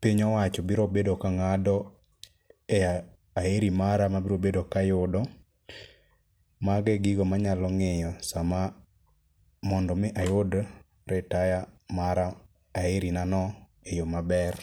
piny owacho biro bedo ka ng'ado e aheri mara ma abrobedo kayudo. Mago e gigo manyalo ng'iyo sama mondo omi ayud ritaya mara aheri na no e yo maber.